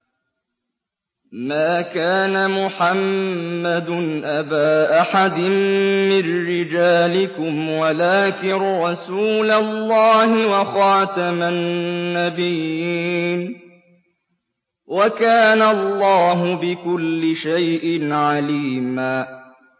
مَّا كَانَ مُحَمَّدٌ أَبَا أَحَدٍ مِّن رِّجَالِكُمْ وَلَٰكِن رَّسُولَ اللَّهِ وَخَاتَمَ النَّبِيِّينَ ۗ وَكَانَ اللَّهُ بِكُلِّ شَيْءٍ عَلِيمًا